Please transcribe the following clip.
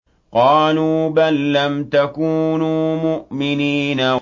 قَالُوا بَل لَّمْ تَكُونُوا مُؤْمِنِينَ